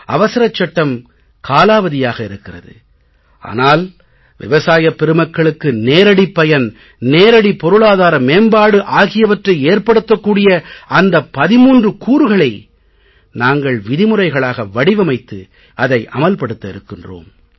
அவசரச் சட்டம் காலாவதியாக இருக்கிறது ஆனால் விவசாயப் பெருமக்களுக்கு நேரடிப் பயன் நேரடி பொருளாதார மேம்பாடு ஆகியவற்றை ஏற்படுத்தக் கூடிய அந்த 13 கூறுகளை நாங்கள் விதிமுறைகளாக வடிவமைத்து இன்றே அதை அமல் படுத்த இருக்கிறோம்